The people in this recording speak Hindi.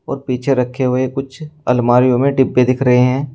पीछे रखे हुए है कुछ अलमारीयो में डिब्बे दिख रहे हैं।